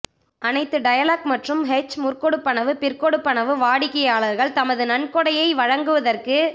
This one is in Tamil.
அனைத்து டயலொக் மற்றும் ஹச் முற்கொடுப்பனவுஃபிற்கொடுப்பனவு வாடிக்கையாளர்கள் தமது நன்கொடையை வழங்குவதற்கு